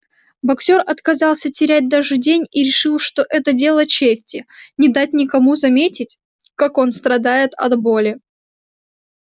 боксёр отказался терять даже день и решил что это дело чести не дать никому заметить как он страдает от боли